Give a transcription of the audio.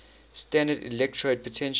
standard electrode potential